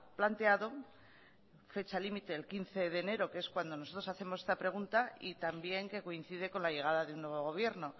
planteado fecha límite el quince de enero que es cuando nosotros hacemos esta pregunta y también que coincide con la llegada de un nuevo gobierno